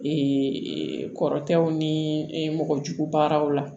Ee kɔrɔtɛw ni mɔgɔjugu baaraw la